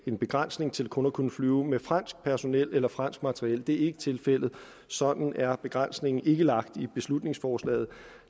en begrænsning til kun at kunne flyve med fransk personel eller fransk materiel det er ikke tilfældet sådan er begrænsningen ikke lagt i beslutningsforslaget